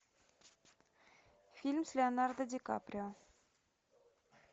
фильм с леонардо ди каприо